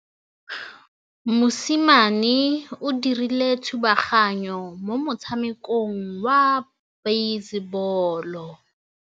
Mosimane o dirile thubaganyô mo motshamekong wa basebôlô.